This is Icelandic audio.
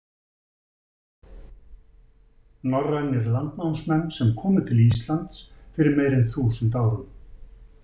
Norrænir landnámsmenn sem komu til Íslands fyrir meira en þúsund árum.